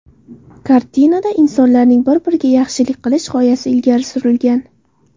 Kartinada insonlarning bir-biriga yaxshilik qilish g‘oyasi ilgari surilgan.